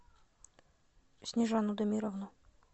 снежану дамировну